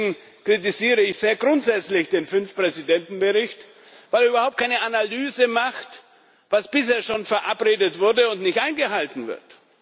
Deswegen kritisiere ich sehr grundsätzlich den Fünf Präsidenten Bericht, weil er überhaupt keine Analyse vornimmt, was bisher schon verabredet wurde und nicht eingehalten wird.